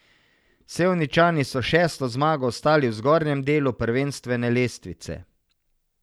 Sevničani so s šesto zmago ostali v zgornjem delu prvenstvene lestvice.